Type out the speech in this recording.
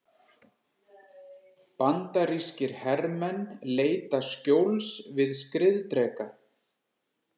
Bandarískir hermenn leita skjóls við skriðdreka.